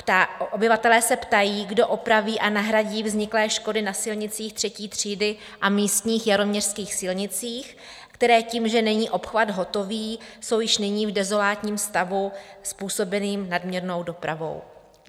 Obyvatelé se ptají, kdo opraví a nahradí vzniklé škody na silnicích třetí třídy a místních jaroměřských silnicích, které tím, že není obchvat hotový, jsou již nyní v dezolátním stavu způsobeným nadměrnou dopravou.